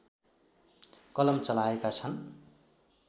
कलम चलाएका छन्